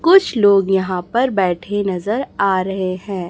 कुछ लोग यहां पर बैठे नजर आ रहे हैं।